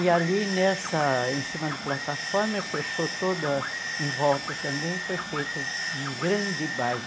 E ali nessa em cima da plataforma, fechou toda em volta também, foi feito um grande baile.